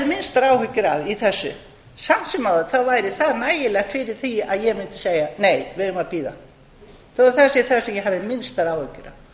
minnstar áhyggjur af í þessu samt sem áður væri það nægilegt fyrir því að ég mundi segja nei við eigum að bíða þó að